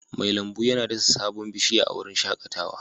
Mai lambu yana dasa sabon bishiya a wurin shakatawa